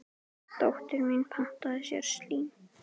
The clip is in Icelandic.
Dóttir mín pantaði sér slím.